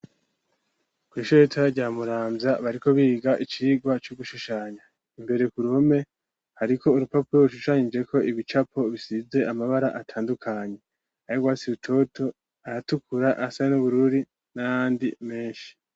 Kw’ishuri ritoya rya Muramvya, bariko biga icirwa co gushushanya, imbere ku ruhome hariko urupapuro rushushanijeko ibicapo bisize amabara atandukanye, ayurwatsi rutoto ayatukura ayasa n`ubururu n`ayandi meshi.